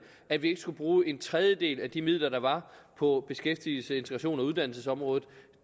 at vi ikke skulle bruge en tredjedel af de midler der var på beskæftigelses integrations og uddannelsesområdet